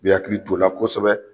I bi hakili to o la kosɛbɛ.